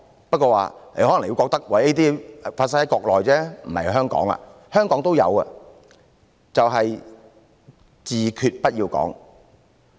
不過可能你會認為這些只是適用於國內，不適用於香港，其實香港也有，就是"自決"不要講。